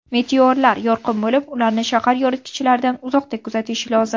Meteorlar yorqin bo‘lib, ularni shahar yoritgichlaridan uzoqda kuzatish lozim.